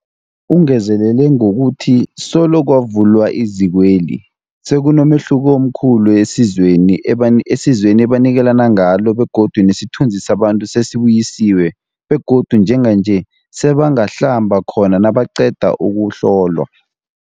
Ungezelele ngokuthi solo kwavulwa izikweli, sekunomehluko omkhulu esizweni ebani esizweni ebanikelana ngalo begodu nesithunzi sabantu sesibuyisiwe begodu njenganje sebangahlamba khona nabaqeda ukuhlolwa.